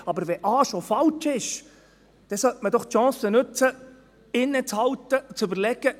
Aber wenn A schon falsch ist, dann sollte man doch die Chance nutzen, inne zu halten und zu überlegen: